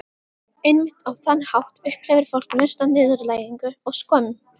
Einmitt á þann hátt upplifir fólk mesta niðurlægingu og skömm.